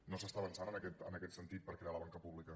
no s’està avançant en aquest sentit per crear la banca pública